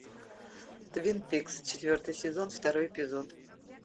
твин пикс четвертый сезон второй эпизод